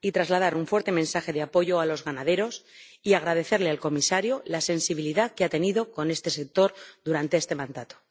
Deseo asimismo trasladar un fuerte mensaje de apoyo a los ganaderos y agradecerle al Comisario la sensibilidad que ha tenido con este sector durante este mandato.